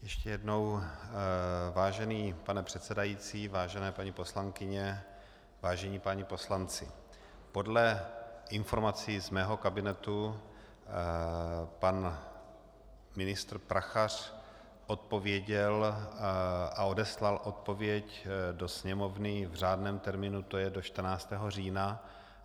Ještě jednou, vážený pane předsedající, vážené paní poslankyně, vážení páni poslanci, podle informací z mého kabinetu pan ministr Prachař odpověděl a odeslal odpověď do Sněmovny v řádném termínu, to je do 14. října.